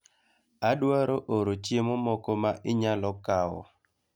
Adwaro oro chiemo moko ma inyalo kawo